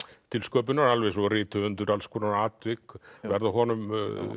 til sköpunar alveg eins og rithöfundur alls konar atvik verða honum